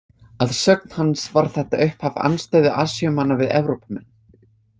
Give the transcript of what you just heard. Að sögn hans var þetta upphaf andstöðu Asíumanna við Evrópumenn.